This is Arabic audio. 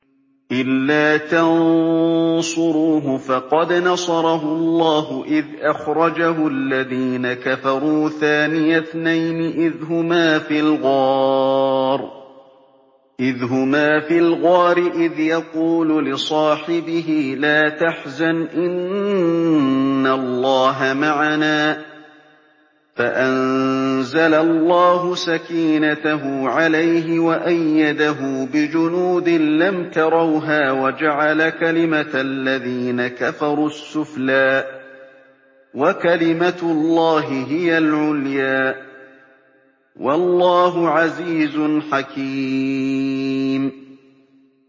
إِلَّا تَنصُرُوهُ فَقَدْ نَصَرَهُ اللَّهُ إِذْ أَخْرَجَهُ الَّذِينَ كَفَرُوا ثَانِيَ اثْنَيْنِ إِذْ هُمَا فِي الْغَارِ إِذْ يَقُولُ لِصَاحِبِهِ لَا تَحْزَنْ إِنَّ اللَّهَ مَعَنَا ۖ فَأَنزَلَ اللَّهُ سَكِينَتَهُ عَلَيْهِ وَأَيَّدَهُ بِجُنُودٍ لَّمْ تَرَوْهَا وَجَعَلَ كَلِمَةَ الَّذِينَ كَفَرُوا السُّفْلَىٰ ۗ وَكَلِمَةُ اللَّهِ هِيَ الْعُلْيَا ۗ وَاللَّهُ عَزِيزٌ حَكِيمٌ